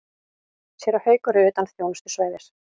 Séra Haukur er utan þjónustusvæðis.